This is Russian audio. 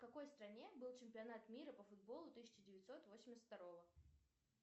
в какой стране был чемпионат мира по футболу тысяча девятьсот восемьдесят второго